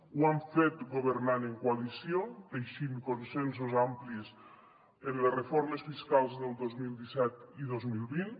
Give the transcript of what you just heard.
ho hem fet governant en coalició teixint consensos amplis en les reformes fiscals del dos mil disset i dos mil vint